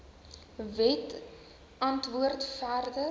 wet antwoord verder